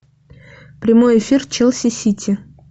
прямой эфир челси сити